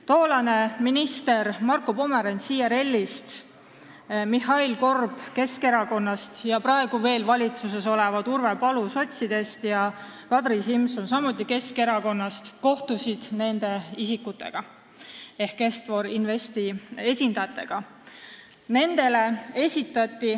Tollane minister Marko Pomerants IRL-ist, Mihhail Korb Keskerakonnast ning praegu veel valitsuses olevad Urve Palo sotside ridadest ja Kadri Simson Keskerakonnast kohtusid nende isikutega ehk Est-For Investi esindajatega.